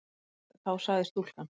Þá sagði stúlkan